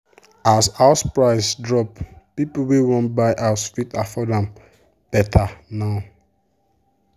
as house price drop people wey wan buy house fit afford am better now.